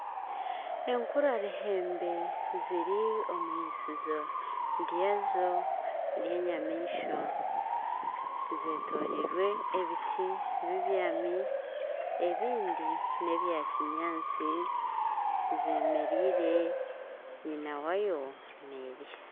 Enkura-ruhembe ziri omu eirisizo ryazo ry'enyamaishwa zetoroirwe ebiti bibyami ebindi n'ebya kinyaatsi zemerereire nyina waazo nizirya